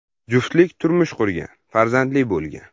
Juftlik turmush qurgan, farzandli bo‘lgan.